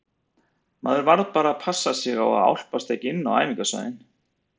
Maður varð bara að passa sig á að álpast ekki inn á æfingasvæðin.